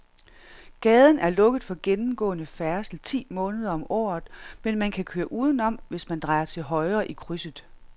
Gaden er lukket for gennemgående færdsel ti måneder om året, men man kan køre udenom, hvis man drejer til højre i krydset.